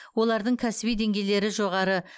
олардың кәсіби деңгейлері жоғары